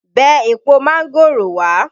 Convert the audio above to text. Bẹ èpo mángòrò wá!